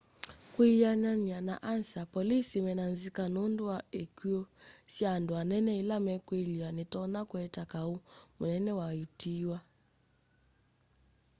kwianana na ansa polisi mena nzika nundu wa ikw'u sya andu anene ila mekwiliwa nitonya kuete kau munene wa utiiwa